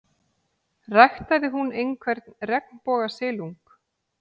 Ræktaði hún einhvern regnbogasilung?